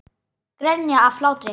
Grenja af hlátri.